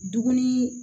Dumuni